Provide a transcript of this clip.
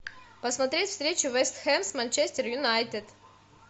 посмотреть встречу вест хэм с манчестер юнайтед